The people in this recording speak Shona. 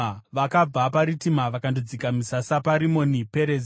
Vakabva paRitima vakandodzika misasa paRimoni Perezi.